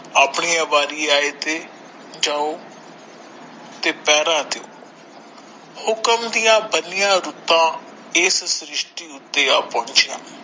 ਆਪਣੀ ਵਾਰੀ ਆਏ ਤੇ ਜਾਓ ਤੇ ਪਹਿਰਾ ਦਿਓ ਹੁਕਮ ਦੀਆ ਬਣਿਆ ਰੁੱਤਾਂ ਇਸ ਸ਼੍ਰਿਸ਼ਟੀ ਉੱਥੇ ਆ ਪਹੁੰਚੀਆਂ ।